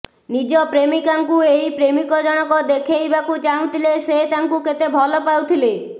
ନିଜ ପ୍ରେମିକାଙ୍କୁ ଏହି ପ୍ରେମିକ ଜଣକ ଦେଖେଇବାକୁ ଚାହୁଁଥିଲେ ସେ ତାଙ୍କୁ କେତେ ଭଲ ପାଉଥିଲେ